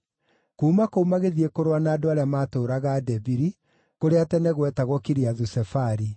Kuuma kũu magĩthiĩ kũrũa na andũ arĩa maatũũraga Debiri (kũrĩa tene gwetagwo Kiriathu-Sefari.)